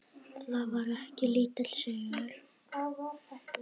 Það var ekki lítill sigur!